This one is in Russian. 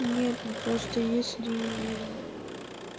нет ну просто если